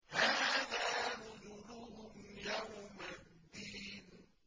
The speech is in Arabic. هَٰذَا نُزُلُهُمْ يَوْمَ الدِّينِ